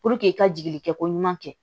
i ka jigi kɛ ko ɲuman kɛ